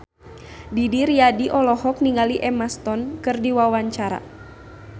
Didi Riyadi olohok ningali Emma Stone keur diwawancara